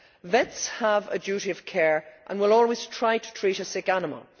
Vets have a duty of care and will always try to treat a sick animal.